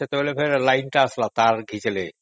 ସେତେବେଳେ light ଟା ଆସିଲା